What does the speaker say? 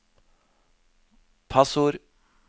passord